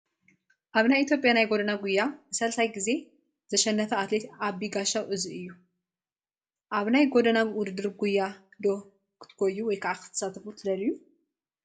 ኣብ ናይ ኢ/ያ ናይ ጎደና ጉያ ን3 ጊዜ ዘሸነፈ ኣትሌት ኣቢ ጋሻው እዚ እዩ፡፡ ኣብ ናይ ጎደና ውድድር ጉያ ዶ ክትጎዩ/ክትሳተፉ ትደልዩ?